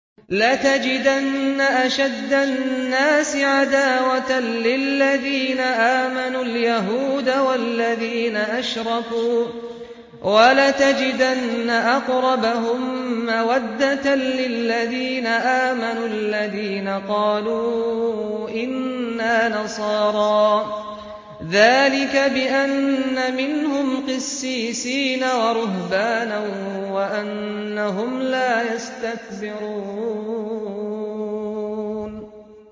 ۞ لَتَجِدَنَّ أَشَدَّ النَّاسِ عَدَاوَةً لِّلَّذِينَ آمَنُوا الْيَهُودَ وَالَّذِينَ أَشْرَكُوا ۖ وَلَتَجِدَنَّ أَقْرَبَهُم مَّوَدَّةً لِّلَّذِينَ آمَنُوا الَّذِينَ قَالُوا إِنَّا نَصَارَىٰ ۚ ذَٰلِكَ بِأَنَّ مِنْهُمْ قِسِّيسِينَ وَرُهْبَانًا وَأَنَّهُمْ لَا يَسْتَكْبِرُونَ